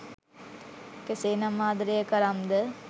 කේසේනමි ආදරය කරම්ද?